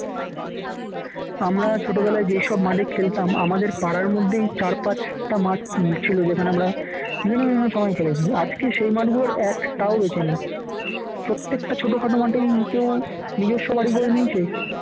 আমরা ছোটবেলা যেসব মাঠে খেলতাম আমাদের পাড়ার মধ্যেই চারপাশটা মাঠ ছিল যেখানে আমরা বিভিন্ন বিভিন্ন সময় খেলেছি আজকের সেই মাঠ গুলো একটাও বেঁচে নেই, প্রত্যেকটা ছোটখাট মাঠেই কিন্তু নিজস্ব বাড়ি করে নিয়েছে।